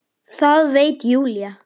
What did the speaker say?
Það veit Júlía.